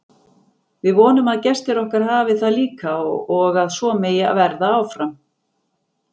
Við vonum að gestir okkar hafi það líka og að svo megi verða áfram.